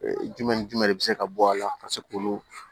Jumɛn ni jumɛn de bɛ se ka bɔ a la ka se k'olu